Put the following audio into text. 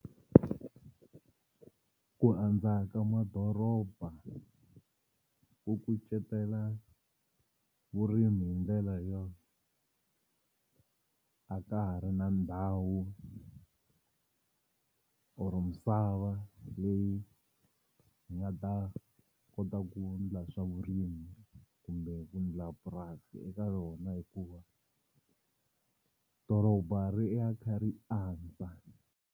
Ku andza ka madoroba ku kucetela vurimi hi ndlela yo a ka ha ri na ndhawu or misava leyi hi nga ta kota ku ndla swa vurimi kumbe ku ndla purasi eka yona hikuva doroba ri ya ri kha ri andza.